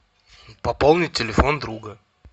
пополнить телефон друга